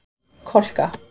Kolka